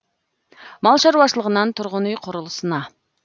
мал шаруашылығынан тұрғын үй құрылысына